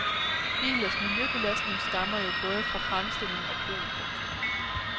Bilers miljøbelastning stammer jo både fra fremstilling og brug. punktum